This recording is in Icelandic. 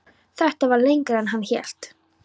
Þetta var lengra en hann hélt.